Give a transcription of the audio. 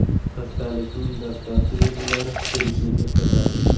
Xastalikning dastlabki belgilari grippni eslatadi.